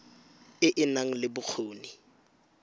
e e nang le bokgoni